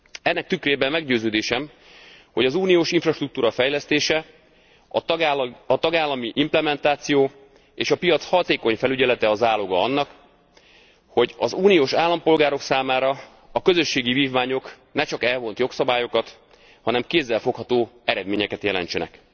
Ennek tükrében meggyőződésem, hogy az uniós infrastruktúra fejlesztése, a tagállami implementáció és a piac hatékony felügyelete a záloga annak, hogy az uniós állampolgárok számára a közösségi vívmányok ne csak elvont jogszabályokat, hanem kézzelfogható eredményeket jelentsenek.